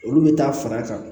Olu bɛ taa fara a kan